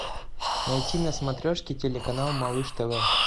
найти на смотрешке телеканал малыш тв